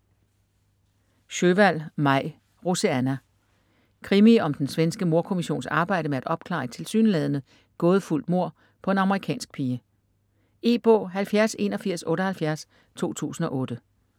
Sjöwall, Maj: Roseanna Krimi om den svenske mordkommissions arbejde med at opklare et tilsyneladende gådefuldt mord på en amerikansk pige. E-bog 708178 2008.